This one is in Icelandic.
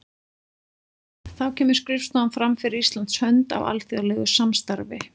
Þá kemur skrifstofan fram fyrir Íslands hönd í alþjóðlegu samstarfi.